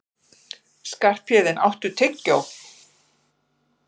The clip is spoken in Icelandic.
Skarphéðinn, áttu tyggjó?